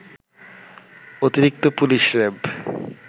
অতিরিক্ত পুলিশ-র‌্যাব